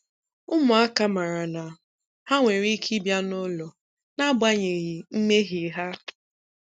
Ụmụaka maara na ha nwere ike ịbịa n'ụlọ n'agbanyeghị mmehie ha.